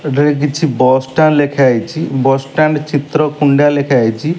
ଏଠାରେ କିଛି bus stand ଲେଖାହେଇଚି ବସ ଷ୍ଟାଣ୍ଡ ଚିତ୍ର କୁଣ୍ଡା ଲେଖାହେଇଚି।